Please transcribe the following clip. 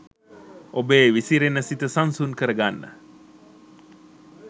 ඔබේ විසිරෙන සිත සන්සුන් කරගන්න.